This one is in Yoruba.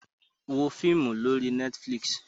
Wo fíímù lórí Netflix!